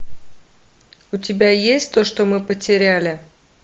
у тебя есть то что мы потеряли